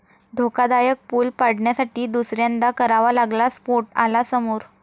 धोकादायक पूल पाडण्यासाठी दुसऱ्यांदा करावा लागला स्फोट, आला समोर